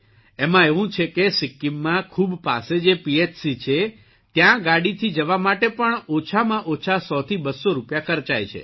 એમાં એવું છે કે સિક્કિમમાં ખૂબ પાસે જે પીએચસી છે ત્યાં ગાડીથી જવા માટે પણમાં ઓછામાં ઓછા ૧૦૦૨૦૦ રૂપિયા ખર્ચાય છે